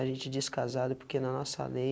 A gente diz casado porque na nossa lei